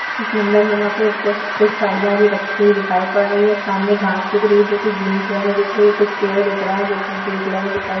इस मंदिरनुमा पे उसपे कुछ साड़ियां भी रखी हुई दिखाई पड़ रही हैं। सामने घास दिख रही है जो कि ग्रीन कलर में दिख रही है। कुछ पेड़ दिख रहे हैं जो की ग्रे कलर में दिखाई --